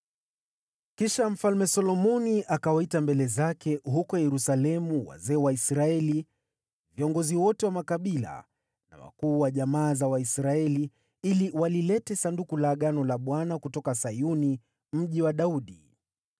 Kisha Mfalme Solomoni akawaita mbele zake huko Yerusalemu wazee wa Israeli, viongozi wote wa makabila na wakuu wa jamaa za Waisraeli, ili walilete Sanduku la Agano la Bwana kutoka Sayuni, Mji wa Daudi.